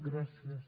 gràcies